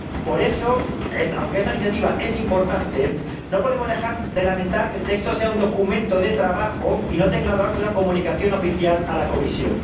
Por eso, aunque esta iniciativa es importante, no podemos dejar de lamentar que el texto sea un documento de trabajo y no tenga el valor de una comunicación oficial a la Comisión.